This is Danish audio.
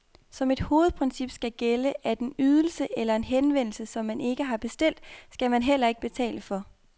Som et hovedprincip skal gælde, at en ydelse eller en henvendelse, som man ikke har bestilt, skal man heller ikke betale for.